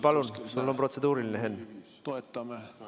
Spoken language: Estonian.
Palun, sul on protseduuriline, Henn!